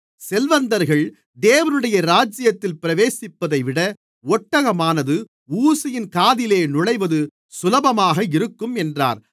செல்வந்தர்கள் தேவனுடைய ராஜ்யத்தில் பிரவேசிப்பதைவிட ஒட்டகமானது ஊசியின் காதிலே நுழைவது சுலபமாக இருக்கும் என்றார்